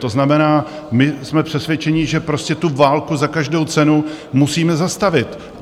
To znamená, my jsme přesvědčeni, že prostě tu válku za každou cenu musíme zastavit.